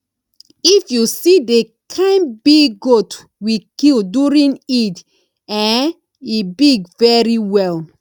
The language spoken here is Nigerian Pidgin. if you see the kin big goat we kill during eid eh e big very well